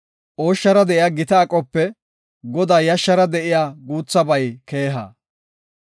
Ooshshara de7iya gita aqope Godaa yashshara de7iya guuthabay keeha.